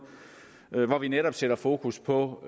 hvor vi netop sætter fokus på